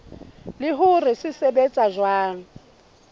le hore se sebetsa jwang